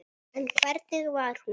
En hvernig var hún?